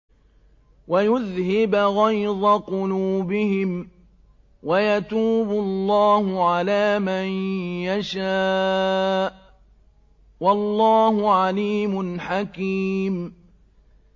وَيُذْهِبْ غَيْظَ قُلُوبِهِمْ ۗ وَيَتُوبُ اللَّهُ عَلَىٰ مَن يَشَاءُ ۗ وَاللَّهُ عَلِيمٌ حَكِيمٌ